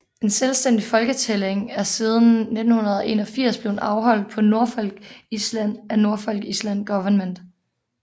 En selvstændig folketælling er siden 1981 blevet afholdt på Norfolk Island af Norfolk Island Government